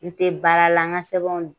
N tɛ baara la n ka sɛbɛnw